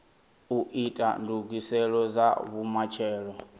u ita ndugiselo dza vhumatshelo